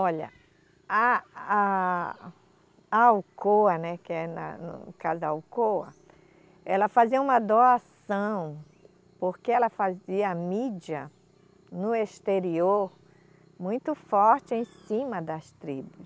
Olha, a, a, a Alcoa, né, que é na, no caso a Alcoa, ela fazia uma doação porque ela fazia mídia no exterior muito forte em cima das tribos.